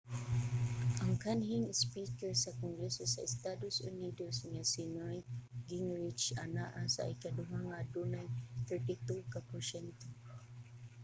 ang kanhing speaker sa kongreso sa estados unidos nga si newt gingrich anaa sa ikaduha nga adunay 32 ka porsyento